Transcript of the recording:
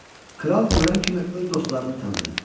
Kral görən kimi öz dostlarını tanıdı.